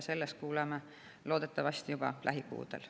Sellest kuuleme loodetavasti juba lähikuudel.